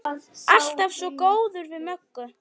Alltaf svo góður við Möggu.